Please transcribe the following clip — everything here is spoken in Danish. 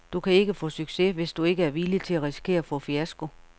Du kan ikke få succes, hvis du ikke er villig til at risikere at få fiasko.